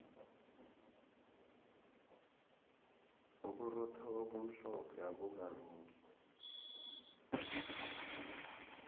uburotho obumhlophe abukalungi